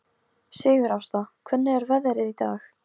Sigurásta, hvernig er veðrið í dag?